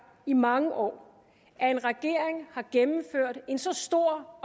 i mange år at en regering har gennemført en så stor